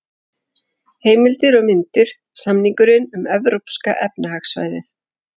Heimildir og myndir: Samningurinn um Evrópska efnahagssvæðið.